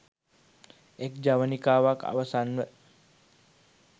එක් ජවනිකාවක් අවසන්ව